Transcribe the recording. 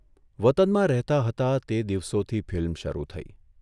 વતનમાં રહેતા હતા તે દિવસોથી ફિલ્મ શરૂ થઇ.